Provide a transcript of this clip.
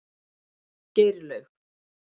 Geirlaug